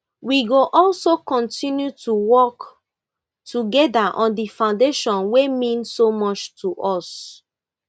we go also kontinu to work togeda on di foundation wey mean so much to us